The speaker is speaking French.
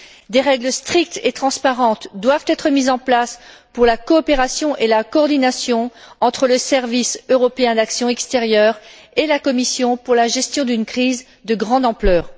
Des règles strictes et transparentes doivent être mises en place pour la coopération et la coordination entre le service européen d'action extérieure et la Commission pour la gestion d'une crise de grande ampleur.